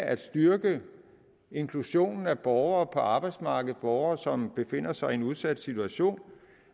at styrke inklusionen af borgere på arbejdsmarkedet borgere som befinder sig i en udsat situation